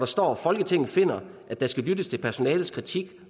står folketinget finder at der skal lyttes til personalets kritik